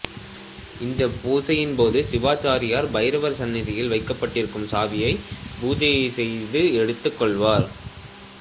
இந்த பூசையின் போது சிவாச்சாரியார் பைரவர் சந்நதியில் வைக்கப்பட்டிருக்கும் சாவியை பூஜை செய்து எடுத்துக் கொள்வார்